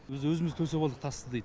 біз өзімсіз төсеп алдық тасты дейді